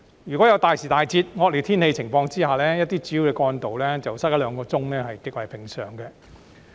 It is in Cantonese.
一旦大時大節、惡劣天氣情況下，一些主要幹道擠塞一兩小時是極為平常。